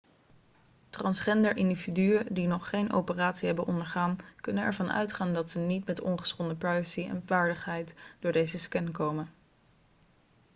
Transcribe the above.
transgender individuen die nog geen operatie hebben ondergaan kunnen ervan uitgaan dat ze niet met ongeschonden privacy en waardigheid door deze scan komen